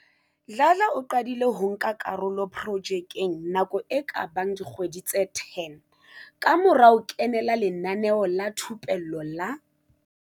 Dladla o qadile ho nka karolo projekeng nako e ka bang dikgwedi tse 10 kamora ho kenela lenaneo la thupello la